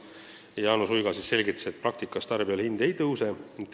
Jaanus Uiga selgitas, et praktikas tarbijale hind ei tõuse.